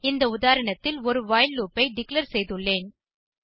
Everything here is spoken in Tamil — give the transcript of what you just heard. இந்த உதாரணத்தில் ஒரு வைல் லூப் ஐ டிக்ளேர் செய்துள்ளேன்